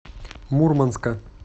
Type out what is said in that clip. мурманска